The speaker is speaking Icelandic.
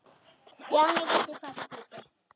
Stjáni vissi hvað það þýddi.